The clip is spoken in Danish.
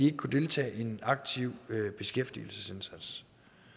ikke kunne deltage i en aktiv beskæftigelsesindsats